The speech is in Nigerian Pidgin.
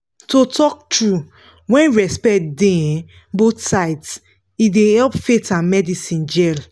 to talk true when respect dey um both sides e dey help faith and medicine jell